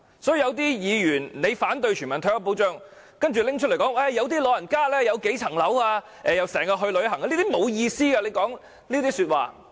所以，有些議員反對全民退休保障，說有些老人家持有數個物業，又經常去旅行等，說這些話是沒有意思的。